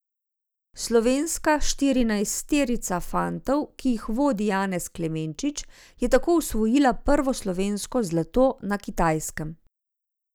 Slovenska štirinajsterica fantov, ki jih vodi Janez Klemenčič, je tako osvojila prvo slovensko zlato na Kitajskem.